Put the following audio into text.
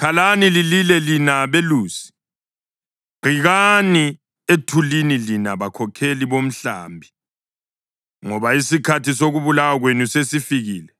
Khalani lilile lina belusi; giqikani ethulini lina bakhokheli bomhlambi. Ngoba isikhathi sokubulawa kwenu sesifikile;